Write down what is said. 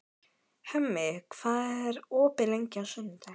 Hemmi, hvað er opið lengi á sunnudaginn?